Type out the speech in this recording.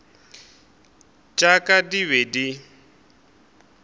tša ka di be di